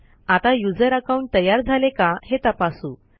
आता user account तयार झाले का हे तपासू